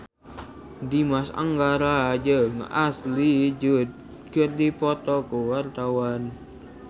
Dimas Anggara jeung Ashley Judd keur dipoto ku wartawan